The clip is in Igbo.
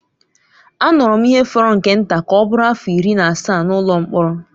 Anọrọ m ihe fọrọ nke nta ka ọ bụrụ afọ iri na asaa n’ụlọ mkpọrọ.